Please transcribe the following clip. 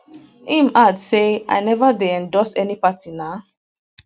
im add say i neva dey endorse any party na